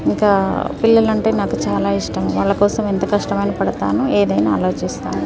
ఇంకా పిల్లలు అంటే నాకు చాలా ఇష్టం వాళ్ళ కోసం ఎంత కష్టం ఐన పడుతాను ఏదైనా ఆలోచిస్తాను.